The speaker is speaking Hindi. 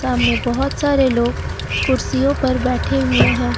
सामने बहोत सारे लोग कुर्सियों पर बैठे हुए हैं।